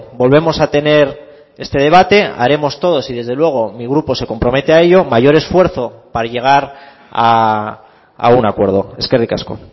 volvemos a tener este debate haremos todos y desde luego mi grupo se compromete a ello mayor esfuerzo para llegar a un acuerdo eskerrik asko